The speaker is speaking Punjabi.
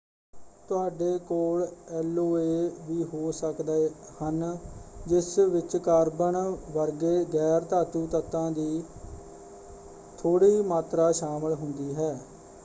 ਤੁਹਾਡੇ ਕੋਲ ਐਲੋਏ ਵੀ ਹੋ ਸਕਦੇ ਹਨ ਜਿਸ ਵਿੱਚ ਕਾਰਬਨ ਵਰਗੇ ਗੈਰ-ਧਾਤੂ ਤੱਤਾਂ ਦੀ ਥੋੜ੍ਹੀ ਮਾਤਰਾ ਸ਼ਾਮਲ ਹੁੰਦੀ ਹੈ।